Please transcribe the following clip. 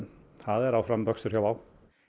það er áfram vöxtur hjá Wow